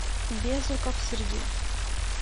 безруков сергей